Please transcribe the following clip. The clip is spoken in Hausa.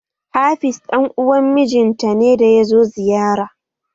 Hafiz dan uwan mijin ta ne da yazo ziyara